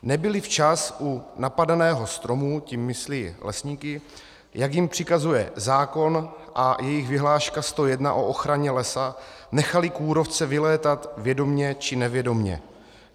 Nebyli včas u napadeného stromu," tím myslí lesníky, "jak jim přikazuje zákon a jejich vyhláška 101 o ochraně lesa, nechali kůrovce vylétat vědomě či nevědomě."